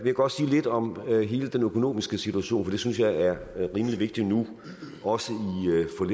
jeg godt sige lidt om hele den økonomiske situation for det synes jeg er rimelig vigtigt nu også